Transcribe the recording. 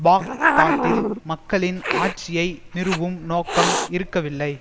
பாக்தாத்தில் மக்களின் ஆட்சியை நிறுவும் நோக்கம் இருக்கவில்லை